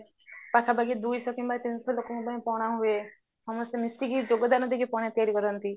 ପାଖା ପାଖି ଦୁଇଶହ କିମ୍ବା ତିନିଶହ ଲୋକଙ୍କ ପାଇଁ ପଣା ହୁଏ ସମସ୍ତେ ମିଶିକି ଯୋଗ ଦାନ ଦେଇକି ପଣା ତିଆରି କରନ୍ତି